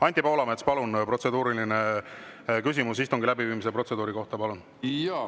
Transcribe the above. Anti Poolamets, küsimus istungi läbiviimise protseduuri kohta, palun!